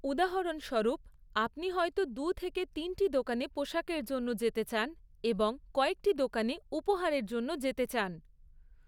উদাহরণস্বরূপ, আপনি হয়তো দু থেকে তিনটি দোকানে পোশাকের জন্য যেতে চান এবং কয়েকটি দোকানে উপহারের জন্য যেতে চান৷